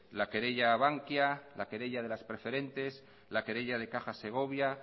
la querella a bankia la querella de las preferentes la querella de caja segovia